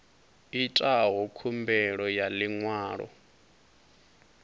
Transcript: itaho khumbelo ya ḽi ṅwalo